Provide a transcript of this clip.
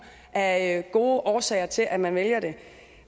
af gode årsager til at man vælger det